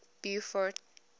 beaufort